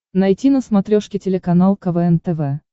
найти на смотрешке телеканал квн тв